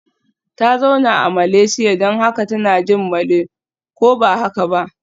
Ta zauna a Malaysia don haka tana jin Malay, ko ba haka ba?